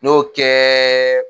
N y'o kɛ